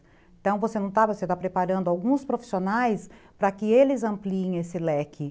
Então, você está preparando alguns profissionais para que eles ampliem esse leque.